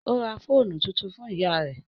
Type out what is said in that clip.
Ó ra fóònù tuntun fún ìyá rẹ́